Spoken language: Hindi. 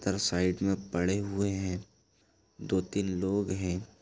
इधर साइड में पड़े हुए हैं दो-तीन लोग हैं।